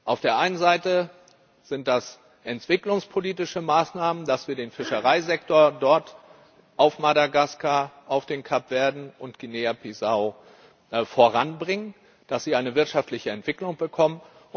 Auf der einen Seite sind das entwicklungspolitische Maßnahmen, dass wir den Fischereisektor dort auf Madagaskar, auf den Kapverden und Guinea Bissau voranbringen, dass sie eine wirtschaftliche Entwicklung bekommen.